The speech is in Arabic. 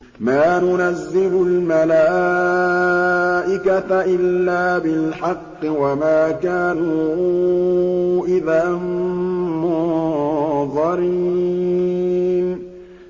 مَا نُنَزِّلُ الْمَلَائِكَةَ إِلَّا بِالْحَقِّ وَمَا كَانُوا إِذًا مُّنظَرِينَ